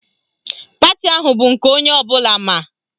Pati ahụ bụ nke onye ọbụla ma.